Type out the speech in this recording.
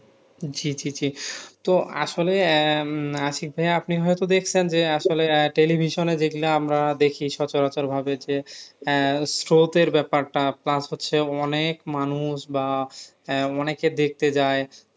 জি জি জি তো আসলে আহ উম আশিক ভাইয়া আপনি হয়তো দেখছেন যে আসলে আহ television এ যেগুলা আমরা দেখি সচরাচর ভাবে যে আহ স্রোতের ব্যাপারটা plus হচ্ছে অনেক মানুষ বা আহ অনেকে দেখতে যায়